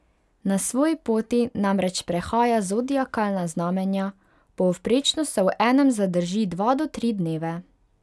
Na svoji poti namreč prehaja zodiakalna znamenja, povprečno se v enem zadrži dva do tri dneve.